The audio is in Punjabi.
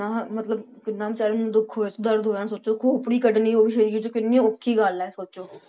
ਮਤਲਬ ਕਿੰਨਾ ਬੇਚਾਰੇ ਨੂੰ ਦੁੱਖ ਹੋਇਆ ਸੀ ਦਰਦ ਹੋਣਾ ਸੋਚੋ ਖੋਪੜੀ ਕੱਢਣੀ ਉਹ ਵੀ ਸਰੀਰ ਚੋਂ ਕਿੰਨੀ ਔਖੀ ਗੱਲ ਹੈ ਸੋਚੋ